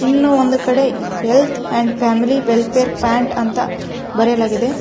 ಇನ್ನೂ ಒಂದು ಕಡೆ health and family welfare pant ಅಂತ ಬರೆಯಲಾಗಿದೆ.